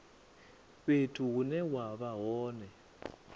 fhethu hune wa vha hone